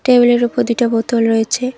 টেবিলের উপর দুইটা বোতল রয়েছে।